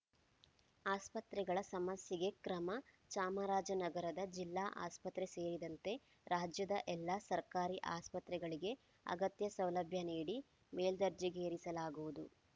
ಆಸ್ಪತ್ರೆಗಳ ಸಮಸ್ಯೆಗೆ ಕ್ರಮ ಚಾಮರಾಜನಗರದ ಜಿಲ್ಲಾ ಆಸ್ಪತ್ರೆ ಸೇರಿದಂತೆ ರಾಜ್ಯದ ಎಲ್ಲಾ ಸರ್ಕಾರಿ ಆಸ್ಪತ್ರೆಗಳಿಗೆ ಅಗತ್ಯ ಸೌಲಭ್ಯ ನೀಡಿ ಮೇಲ್ದರ್ಜೆಗೇರಿಸಲಾಗುವುದು